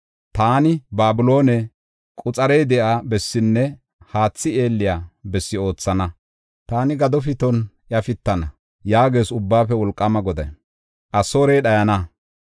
Taani Babiloone quxarey de7iya bessinne haathi eelliya bessi oothana; taani gado piton iya pittana” yaagees Ubbaafe Wolqaama Goday.